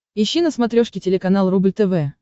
ищи на смотрешке телеканал рубль тв